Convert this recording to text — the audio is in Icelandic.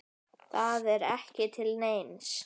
Þetta er ekki til neins.